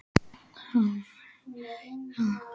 Helma, hvernig er veðrið í dag?